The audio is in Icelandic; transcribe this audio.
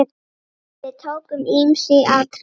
Við tókum ýmis atriði.